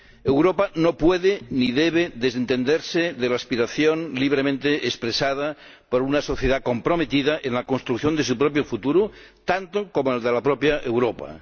Europa no puede ni debe desentenderse de la aspiración libremente expresada por una sociedad comprometida en la construcción de su propio futuro, tanto como en el de la propia Europa.